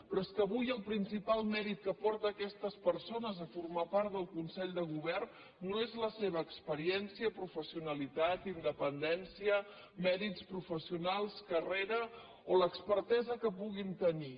però és que avui el principal mèrit que porta aquestes persones a formar part del consell de govern no és la seva experiència professionalitat indepen·dència mèrits professionals carrera o l’expertesa que puguin tenir